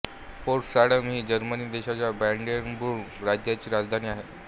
Potsdam ही Germany देशाच्या Brandenburg राज्याची राजधानी आहे